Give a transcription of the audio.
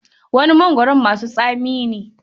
Wani mongoron masu tsami ne.